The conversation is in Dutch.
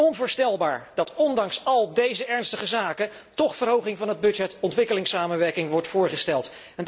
Onvoorstelbaar dat ondanks al deze ernstige zaken toch verhoging van de begroting voor ontwikkelingssamenwerking wordt voorgesteld.